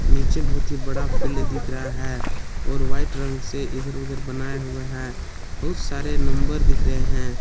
नीचे बहुत ही बड़ा फिल्ड दिख रहा हैं और व्हाइट रंग से इधर उधर बनाया हुआ हैं बहुत सारे नंबर दिख रहे है।